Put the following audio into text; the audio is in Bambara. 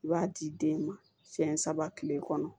I b'a di den ma siyɛn saba kile kɔnɔ